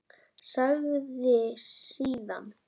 Sagði síðan